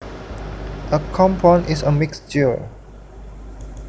A compound is a mixture